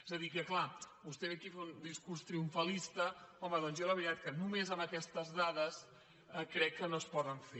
és a dir que clar vostè ve aquí a fer un discurs triomfalista home doncs jo la veritat que només amb aquestes dades crec que no es pot fer